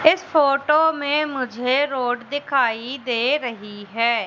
इस फोटो में मुझे रोड दिखाई दे रही है।